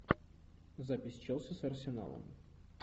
запись челси с арсеналом